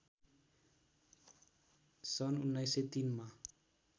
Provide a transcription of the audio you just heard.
सन् १९०३ मा